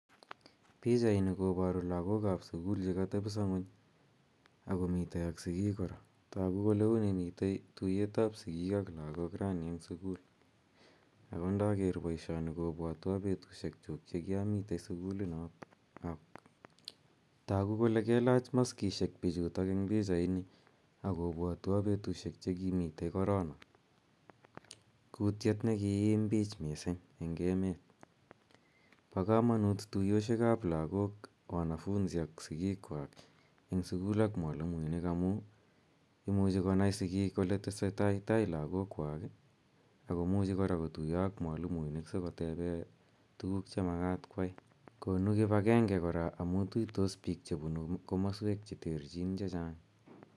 Pichaini koparu lagok ap sukul che katepisa ng'uny ak komitei ak sikiik kora. Tagu kole uni mitie tuyet ap sikik ak lagol raini eng' sukul. Ako ndaker poishoni kopwatwa petushek chuk che kiamitei sukul. Tagu kole kelach maskishek pichutok eng' pichaini ak kopwatwa petushek che kimitei korona , kutiet ne kiim pich missing' eng' emet. Pa kamanut tuyoshekap lagok, wanafunzi ak sikikwak eng' sukul ak mwalimuinik amu imuchi konai sikiik ole tesetai tai lagokwak ako muchi kora kotuya ak mwalimuinik asikotepe tugul che makat koyai. Konu kip agenge kora amu tuitos piik che punu komaswek che terchin che chang'.